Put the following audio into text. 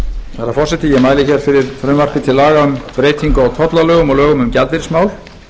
herra forseti ég mæli fyrir frumvarpi til laga um breyting á tollalögum og lögum um gjaldeyrismál